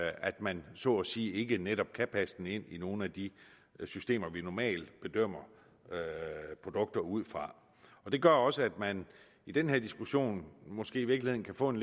at man så at sige ikke netop kan passe den ind i nogen af de systemer vi normalt bedømmer produkter ud fra det gør også at man i den her diskussion måske i virkeligheden kan få en